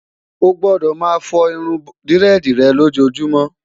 o gbọdọ má fo irún diredi rè lojumo'